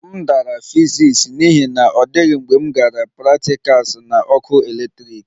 M dara fiziks n'ihi na ọ dịghị mgbe m gara praktikals na ọkụ eletrik